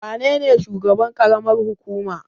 Wa nene shugaban ƙaramar hukuma?